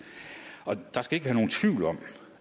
der skal ikke være nogen tvivl om